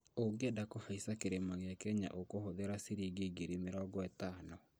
ũngĩenda kũhaica kĩrĩma gĩa kenya ũkũhũthĩra ciringi ngiri mĩrongo ĩtano